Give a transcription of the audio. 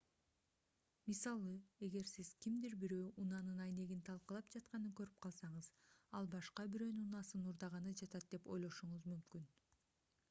мисалы эгер сиз кимдир бирөө унаанын айнегин талкалап жатканын көрүп калсаңыз ал башка бирөөнүн унаасын уурдаганы жатат деп ойлошуңуз мүмкүн